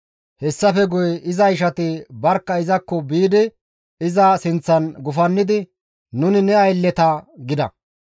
Hessafe guye iza ishati barkka izakko biidi iza sinththan gufannidi, «Nuni ne aylleta» gida.